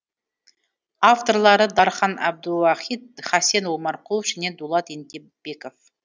авторлары дархан әбдуахит хасен омарқұлов және дулат ентебеков